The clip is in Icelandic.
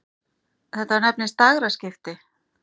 Þetta nefnist dægraskipti.